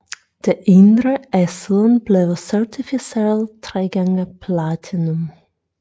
Det indre er siden blevet certificeret 3x Platinum